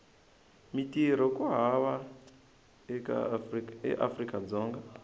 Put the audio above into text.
mintirho ku hava eafrika dzonga